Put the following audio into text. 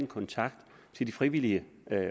kontakt til de frivillige